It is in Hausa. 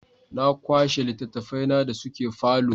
Na kwashe littattafaina da suke falo.